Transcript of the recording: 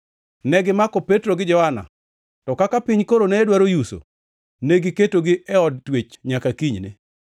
Negimako Petro gi Johana, to kaka piny koro ne dwaro yuso, negiketogi e od twech nyaka kinyne.